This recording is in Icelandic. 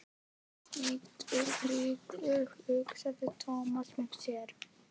Steiktur gyðingur, hugsaði Thomas með sér.